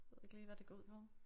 Ved ikke lige hvad det går ud på